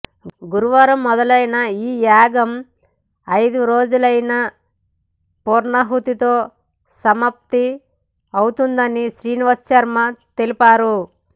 గురువారం మొదలైన ఈ యాగం ఐదువ రోజైన పూర్ణాహుతితో సమాప్తి అవుతుందని శ్రీనివాసశర్మ తెలిపారు